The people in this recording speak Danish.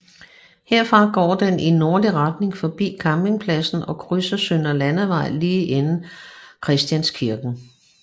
Herfra går den i nordlig retning forbi campingpladsen og krydser Søndre Landevej lige inden Christianskirken